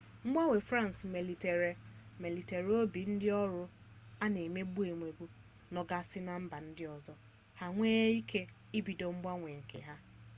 mgbanwe france melitere obi ndi oru ana emegbu emegbu no gasi na mba ndi ozo ha ewere wee ike ibido mgbanwe nke ha